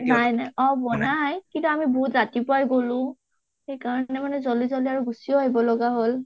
অ নাই নাই বনাই কিন্তু আমি বহুত ৰাতিপুৱাই গলোঁ সেইকাৰণে মানে জলদি জালদি গুচিও আহিব লগা হল।